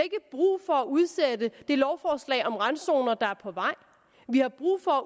brug for at udsætte det lovforslag om randzoner der er på vej vi har brug for